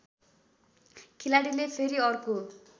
खेलाडीले फेरि अर्को